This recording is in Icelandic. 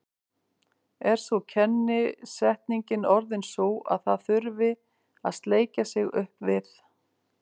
Er nú kennisetningin orðin sú að það þurfi að sleikja sig upp við